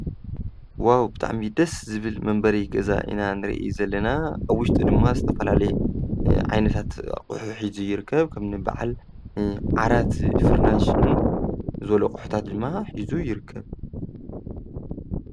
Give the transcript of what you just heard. ዋው! ብጣዕሚ ደስ ዝብል መንበሪ ገዛ ኢና ንርኢ ዘለና. አብ ዉሽጡ ድማ ዝተፈላለዩ ዓይነታት አቑሑ ሒዙ ይርከብ:: ከም በዓል ዓራት፣ ፍራሽ ዝበሉ አቑሑታት ድማ ሒዙ ይርከብ ።